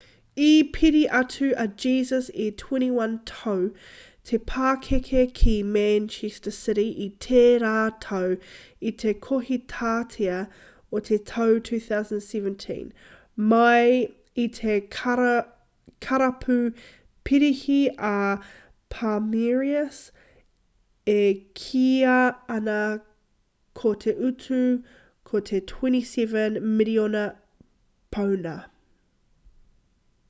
i piri atu a jesus e 21 tau te pakeke ki manchester city i tērā tau i te kohitātea o te tau 2017 mai i te karapu parihi a palmeiras e kīia ana ko te utu ko te 27 miriona pauna